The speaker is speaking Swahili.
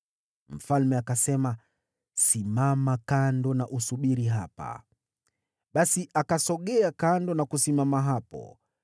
Mfalme akasema, “Simama kando na usubiri hapa.” Basi akasogea kando na kusimama hapo.